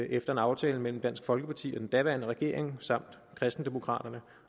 efter en aftale mellem dansk folkeparti og den daværende regering samt kristendemokraterne